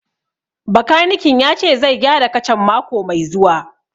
Bakanikin ya ce zai gyara kacan mako mai zuwa